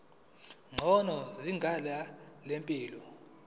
ngcono izinga lempilo